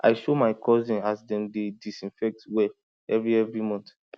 i show my cousin as dem dey disinfect well every every month